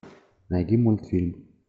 найди мультфильм